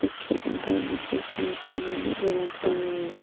उसके अंदर में कई सारे सामाने भी रखा हुआ है।